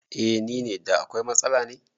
Eh nine, da akwai matsala ne?